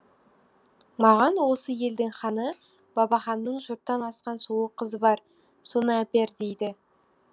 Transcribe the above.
маған осы елдің ханы бабаханның жұрттан асқан сұлу қызы бар соны әпер дейді